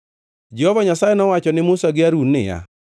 Jehova Nyasaye nowacho ne Musa gi Harun niya,